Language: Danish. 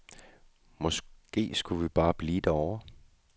Måske skulle vi bare blive derovre.